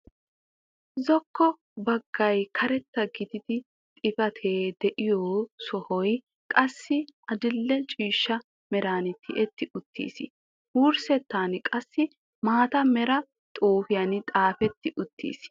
Zokko baggay karetta gidiidi xifatee de'iyoo sohoy qassi adil"e ciishsha meran tiyetti uttiis. Wurssettan qassi maata meera xuufiyaan xaafetti uttiis.